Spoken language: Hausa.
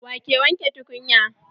Waye wanke tukunya?